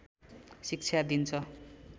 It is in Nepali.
शिक्षा दिन्छ